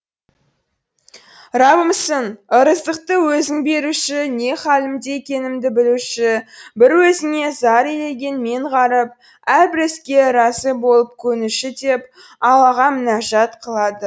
рабымсың ырыздықты өзің беруші не халімде екенімді білуші бір өзіңе зар илеген мен ғаріп әрбір іске разы болып көнуші деп аллаға мінәжат қылады